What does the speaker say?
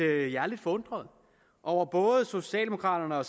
er jeg lidt forundret over at både socialdemokraterne og